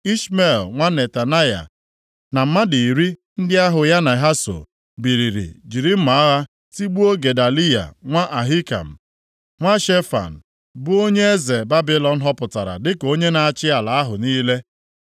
Ishmel nwa Netanaya na mmadụ iri ndị ahụ ya na ha so, biliri jiri mma agha tigbuo Gedaliya nwa Ahikam, nwa Shefan, bụ onye eze Babilọn họpụtara dịka onye na-achị ala ahụ niile.